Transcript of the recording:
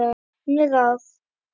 Önnur ráð